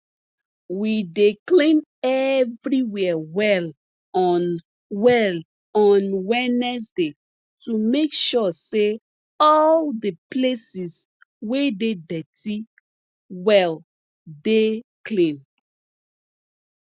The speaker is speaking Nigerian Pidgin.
we dey clean everywhere well on well on wednesday to make sure say all the places wey dey dirty well dey clean